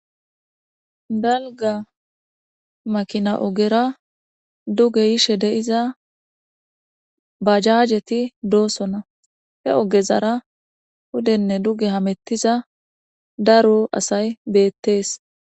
balga makina ogera duge yishe deiza bajaajeti doosona he ogezara hudenne duge hamettiza daro asay beettees